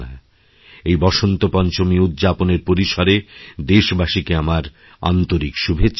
এই বসন্তপঞ্চমী উদ্যাপনের পরিসরে দেশবাসীকেআমার আন্তরিক শুভেচ্ছা জানাই